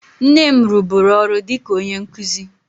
Nne m rụburu ọrụ dị ka onye nkụzi